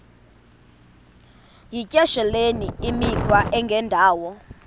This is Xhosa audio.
yityesheleni imikhwa engendawo